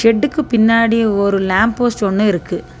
ஷெட்டுக்கு பின்னாடி ஒரு lamp post ஒன்னு இருக்கு.